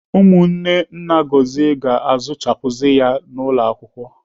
Ụmụnne nna Gọzie ga-azụchapuzi ya n'ụlọ akwụkwọ.